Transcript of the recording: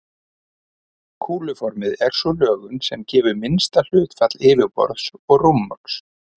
Kúluformið er sú lögun sem gefur minnsta hlutfall yfirborðs og rúmmáls.